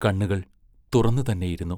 കണ്ണുകൾ തുറന്നു തന്നെ ഇരുന്നു.